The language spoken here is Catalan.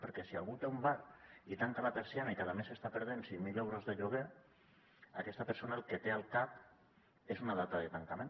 perquè si algú té un bar i tanca la persiana cada mes està perdent cinc mil euros de lloguer aquesta persona el que té al cap és una data de tancament